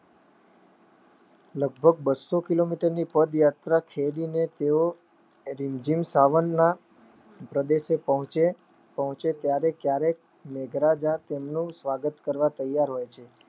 લગભગ બસો કિલોમીટરની પદ યાત્રા છેડીને તેઓ રીમઝીમ સાવનનના પ્રદેશે પહોંચે ત્યારે મેઘરાજા તેમને સ્વાગત કરવા તૈયાર હોય છે.